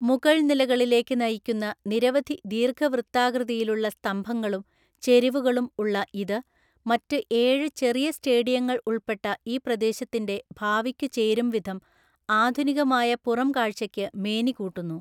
മുകൾനിലകളിലേക്ക് നയിക്കുന്ന നിരവധി ദീർഘവൃത്താകൃതിയിലുള്ള സ്തംഭങ്ങളും ചെരിവുകളും ഉള്ള ഇത്, മറ്റ് ഏഴ് ചെറിയ സ്റ്റേഡിയങ്ങൾ ഉൾപ്പെട്ട ഈ പ്രദേശത്തിൻ്റെ, ഭാവിക്കുചേരുംവിധം ആധുനികമായ പുറംകാഴ്ചയ്ക്ക് മേനികൂട്ടുന്നു.